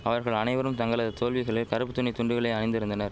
அவர்கள் அனைவரும் தங்களது தோல்விகளில் கறுப்பு துணி துண்டுகளை அணிந்திருந்தனர